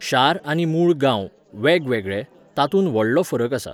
शार आनी मूळ गांव, वेगवेगळे, तातूंत व्हडलो फरक आसा.